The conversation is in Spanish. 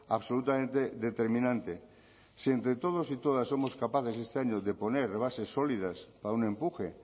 absolutamente determinante si entre todos y todas somos capaces este año de poner bases sólidas para un empuje